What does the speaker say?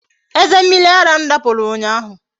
Eze mmiri ara m dapụrụ ụnyaahụ